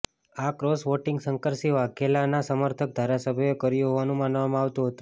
આ cross voting Shankarsinh વાઘેલાના સમર્થક ધારાસભ્યોએ કર્યું હોવાનું માનવામાં આવતું હતું